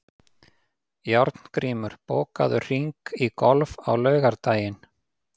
Járngrímur, bókaðu hring í golf á laugardaginn.